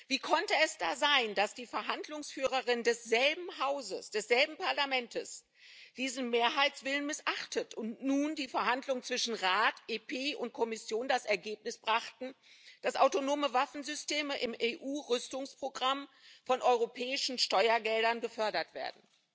Wie konnte es da sein, dass die Verhandlungsführerin desselben Hauses, desselben Parlaments, diesen Mehrheitswillen missachtet und nun die Verhandlungen zwischen Rat, EP und Kommission das Ergebnis brachten, dass autonome Waffensysteme im EU Rüstungsprogramm mit europäischen Steuergeldern gefördert werden?